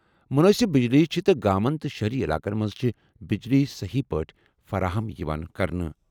مُنٲسِب بجلی چھِ تہٕ گامَن تہٕ شہری علاقَن منٛز چھِ بجلی صحیح پٲٹھۍ فراہم یِوان کرنہٕ۔